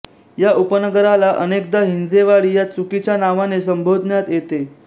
या उपनगराला अनेकदा हिंजेवाडी या चुकीच्या नावाने संबोधण्यात येते